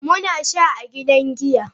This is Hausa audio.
Muna sha a gidan giya.